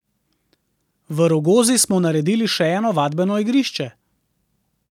V Rogozi smo naredili še eno vadbeno igrišče.